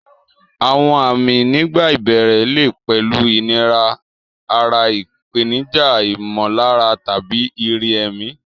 Àwọn àmì nígbà ìbẹ̀rẹ̀ lè pẹ̀lú ìnira ara, ìpèníjà ìmọ̀lára, tàbí ìrírí ẹ̀mí.